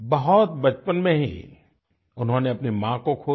बहुत बचपन में ही उन्होंने अपनी माँ को खो दिया